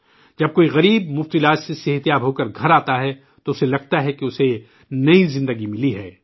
جب کوئی غریب مفت علاج سے صحت مند ہوکر گھر آتا ہے تو اسے لگتا ہے کہ اسے نئی زندگی ملی ہے